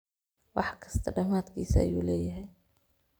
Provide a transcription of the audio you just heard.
Wax kista dhamadkis ayulehyhy.